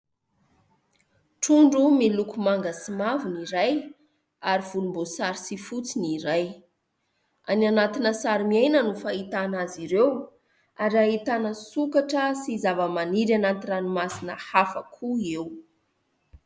Trondro miloko manga sy mavo ny iray ary volomboasary sy fotsy ny iray, any anatina sarimiaina no fahitana azy ireo ary ahitana sokatra sy zavamaniry anaty ranomasina hafa koa eo.